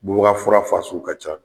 Bubaga fura fasuu ka ca.